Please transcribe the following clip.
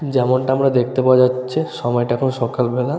যেমনটা আমরা দেখতে পাওয়া যাচ্ছে। সময়টা এখন সকালবেলা।